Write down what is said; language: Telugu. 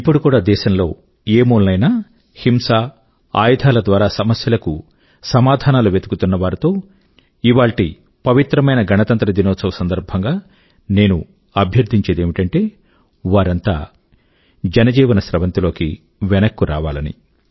ఇప్పుడు కూడా దేశం లో ఏ మూలనైనా హింస అయుధాల ద్వారా సమస్యల కు సమాధానాలు వెతుకుతున్న వారితో ఇవాళ్టి పవిత్రమైన గణతంత్ర దినోత్సవం సందర్భం గా నేను అభ్యర్థించేది ఏమిటంటే వారంతా జనజీవన స్రవంతి లోకి వెనక్కు రావాలని